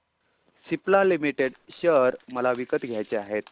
Cipla limited share मला विकत घ्यायचे आहेत